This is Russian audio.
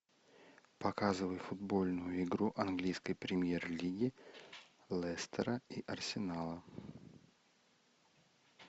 показывай футбольную игру английской премьер лиги лестера и арсенала